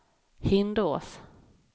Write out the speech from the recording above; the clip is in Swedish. Hindås